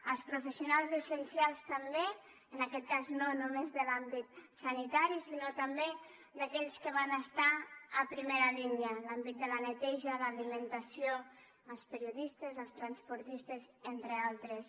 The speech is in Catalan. als professionals essencials també en aquest cas no només de l’àmbit sanitari sinó també aquells que van estar a primera línia l’àmbit de la neteja l’alimentació els periodistes els transportistes entre altres